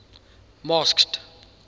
masked